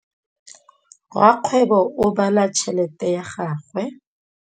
Rakgwêbô o bala tšheletê ya gagwe.